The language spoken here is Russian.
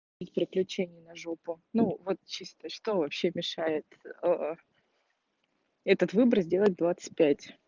из приключения на жопу ну вот чисто что вообще мешает этот выбор сделать в двадцать пять